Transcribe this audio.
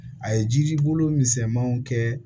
A ye jiri bolo misɛmanw kɛ